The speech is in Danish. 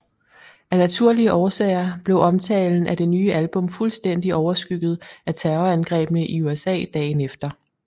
Af naturlige årsager blev omtalen af det nye album fuldstændigt overskygget af terrorangrebene i USA dagen efter